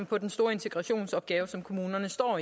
på den store integrationsopgave som kommunerne står